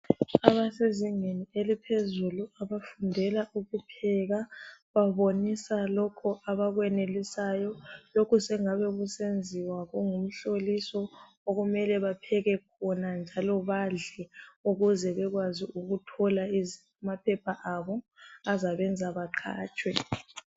Abasezingeni eliphezulu abafundela ukupheka babonisa lokho abakwenelisayo. Lokhu sengabe kusenziwa kungu mhloliso. Okumele bapheke bona njalo badle. Ukuze bekwazi ukuthola amaphepha abo azabenza baqatshwe.